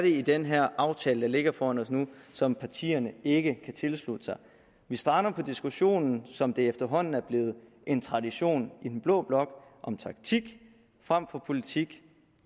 i den her aftale der ligger foran os nu som partierne ikke kan tilslutte sig vi strander på i diskussionen som det efterhånden er blevet en tradition i den blå blok om taktik frem for politik